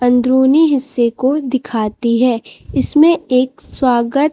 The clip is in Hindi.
अंदरूनी हिस्से को दिखाती है इसमें एक स्वागत--